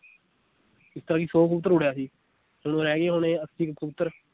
ਜਿਸ ਤਰ੍ਹਾਂ ਕਿ ਸੌ ਕਬੂਤਰ ਉੱਡਿਆ ਸੀ ਹੁਣ ਅੱਸੀ ਕੁ ਕਬੂਤਰ,